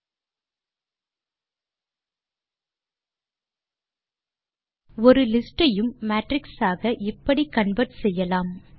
ஓரு லிஸ்ட் ஐயும் மேட்ரிக்ஸ் ஆக இப்படி கன்வெர்ட் செய்யலாம்